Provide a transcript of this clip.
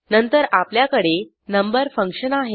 नंतर आपल्याकडे number function आहे